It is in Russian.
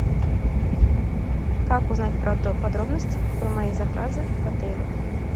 как узнать подробности про мои заказы в отеле